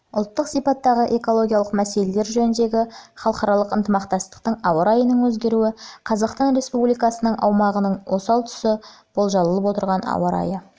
ұлттық сипаттағы экологиялық мәселелер жөніндегі халықаралық ынтымақтастық ауа райының өзгеруі қазақстан республикасының аумағының осал тұсы болжалып отырған ауа райы